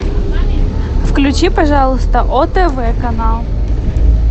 включи пожалуйста отв канал